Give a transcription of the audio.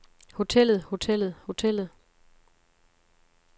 hotellet hotellet hotellet